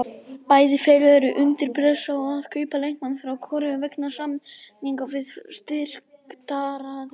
Bæði félög eru undir pressu á að kaupa leikmann frá Kóreu vegna samninga við styrktaraðila.